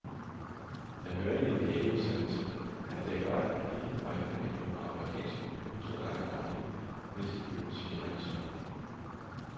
Jeg hørte i en lægeudsendelse, at det er godt at give øjnene en dråbe amerikansk olie to gange daglig, hvis de føles generende tørre.